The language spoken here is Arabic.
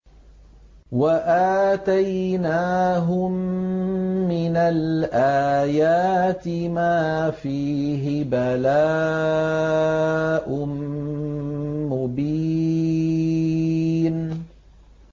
وَآتَيْنَاهُم مِّنَ الْآيَاتِ مَا فِيهِ بَلَاءٌ مُّبِينٌ